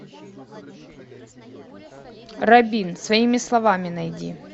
рабин своими словами найди